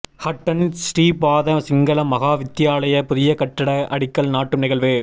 ஹட்டன் ஸ்ரீபாத சிங்கள மகா வித்தியாலய புதிய கட்டிட அடிக்கல் நாட்டும் நிகழ்வு